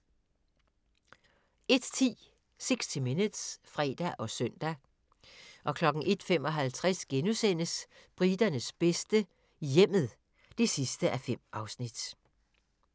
01:10: 60 Minutes (fre og søn) 01:55: Briternes bedste - hjemmet (5:5)*